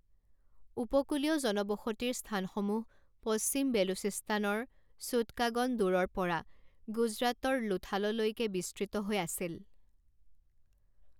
উপকূলীয় জনবসতিৰ স্থানসমূহ পশ্চিম বেলুচিস্তানৰ ছুটকাগন দোৰৰ পৰা গুজৰাটৰ লোথাললৈকে বিস্তৃত হৈ আছিল।